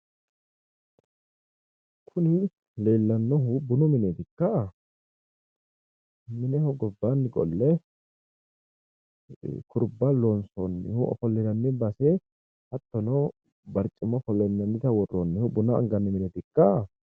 Kuni leellannohu bunu mineetikka? Mineho gibbanni qolle kurba loonsoonnihu ofollinanni base hattono barcimma ofollinannita worroonnihu buna anganni mineetikka?